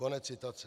Konec citace.